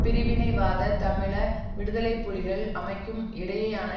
பிரிவினைவாத தமிழீழ விடுதலை புலிகள் அமைப்புக்கும் இடையேயான